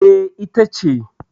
E, ita ce.